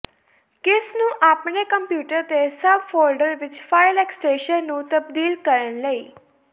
ਕਿਸ ਨੂੰ ਆਪਣੇ ਕੰਪਿਊਟਰ ਤੇ ਸਭ ਫੋਲਡਰ ਵਿੱਚ ਫਾਇਲ ਐਕਸ਼ਟੇਸ਼ਨ ਨੂੰ ਤਬਦੀਲ ਕਰਨ ਲਈ